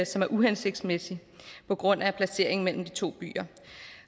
som er uhensigtsmæssig på grund af placeringen mellem de to byer